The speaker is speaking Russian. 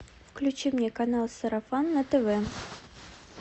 включи мне канал сарафан на тв